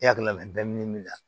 I hakili la bɛ min na